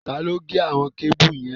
Taló gé àwon kébù yẹn?